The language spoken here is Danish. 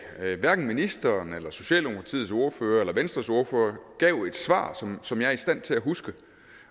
hverken ministeren eller socialdemokratiets ordfører eller venstres ordfører gav et svar som jeg er i stand til at huske